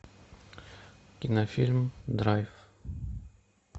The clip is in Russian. кинофильм драйв